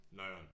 Noieren